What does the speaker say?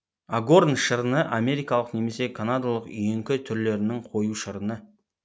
агорн шырыны америкалық немесе канадалық үйеңкі түрлерінің қою шырыны